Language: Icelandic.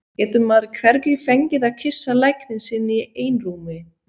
Getur maður hvergi fengið að kyssa lækninn sinn í einrúmi?